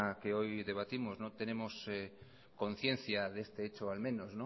que hoy debatimos no tenemos conciencia de este hecho al menos